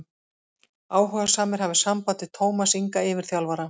Áhugasamir hafi samband við Tómas Inga yfirþjálfara.